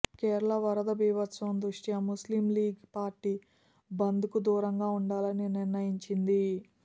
కేరళ వరద బీభత్సం దృష్ట్యా ముస్లిం లీగ్ పార్టీ బంద్కు దూరంగా ఉండాలని నిర్ణయించిది